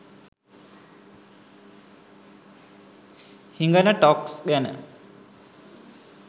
හිගන talks ගැන.